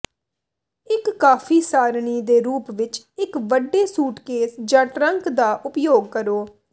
ਇੱਕ ਕਾਫੀ ਸਾਰਣੀ ਦੇ ਰੂਪ ਵਿੱਚ ਇੱਕ ਵੱਡੇ ਸੂਟਕੇਸ ਜਾਂ ਟਰੰਕ ਦਾ ਉਪਯੋਗ ਕਰੋ